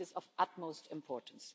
This is of utmost importance.